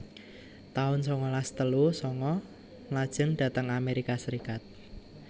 taun sangalas telu sanga Mlajeng dhateng Amerika Serikat